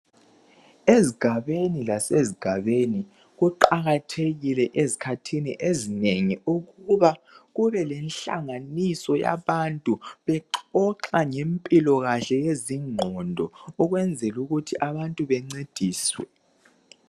Ezigabeni lasezigabeni kuqakathekile ezikhathini ezinengi ukuba kube lenhlanganiso yabantu bexoxa ngempilo kahle yezingqondo ukwenzela ukuthi abantu bencediswe.